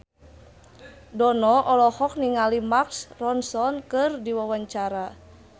Dono olohok ningali Mark Ronson keur diwawancara